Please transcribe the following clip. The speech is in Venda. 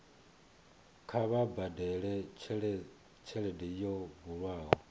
kha vha badele tshelede yo bulwaho